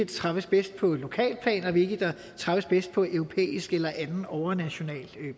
træffes bedst på et lokalt plan og hvilke der træffes bedst på europæisk eller andet overnationalt